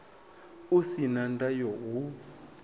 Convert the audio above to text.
u si na ndayo hu